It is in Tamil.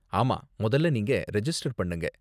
ஆமா, முதல்ல நீங்க ரெஜிஸ்டர் பண்ணுங்க.